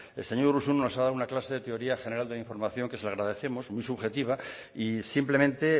el señor urruzuno nos ha dado una clase de teoría general de la información que se le agradecemos muy subjetiva y simplemente